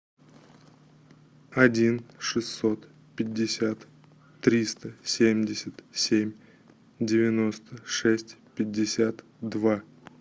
один шестьсот пятьдесят триста семьдесят семь девяносто шесть пятьдесят два